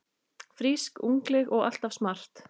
Frísk, ungleg og alltaf smart.